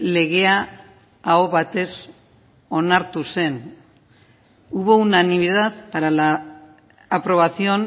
legea aho batez onartu zen hubo unanimidad para la aprobación